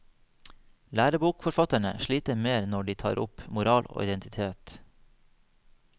Lærebokforfatterne sliter mer når de tar opp moral og identitet.